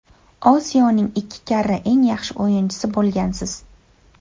Osiyoning ikki karra eng yaxshi o‘yinchisi bo‘lgansiz.